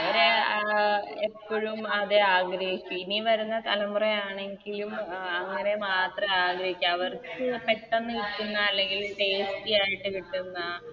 അവര്എപ്പഴും അതെ ആഗ്രഹിക്കു ഇനി വരുന്ന തലമുറ ആണെങ്കിലും അങ്ങനെ മാത്ര ആഗ്രഹിക്ക അവർക്ക് പെട്ടന്ന് കിട്ടുന്ന അല്ലെങ്കില് Tasty ആയിട്ട് കിട്ടുന്ന